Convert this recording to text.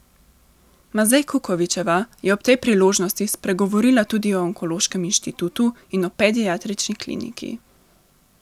Mazej Kukovičeva je ob tej priložnosti spregovorila tudi o Onkološkem inštitutu in o Pediatrični kliniki.